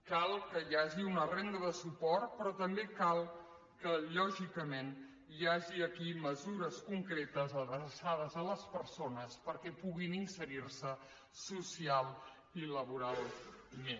cal que hi hagi una renda de suport però també cal que lògicament hi hagi aquí mesures concretes adreçades a les persones perquè puguin inserir se socialment i laboralment